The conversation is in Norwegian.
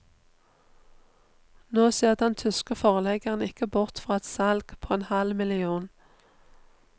Nå ser den tyske forleggeren ikke bort fra et salg på en halv million.